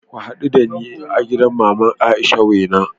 Ku hadu dani a gidan Mama Aisha's Wena